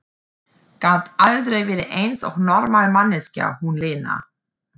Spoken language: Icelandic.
Gat aldrei verið eins og normal manneskja, hún Lena!